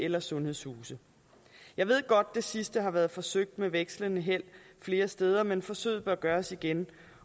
eller sundhedshuse jeg ved godt at det sidste har været forsøgt med vekslende held flere steder men forsøget bør gøres igen